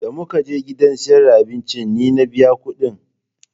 Da mu ka je gidan siyar da abincin ni na biya ƙuɗin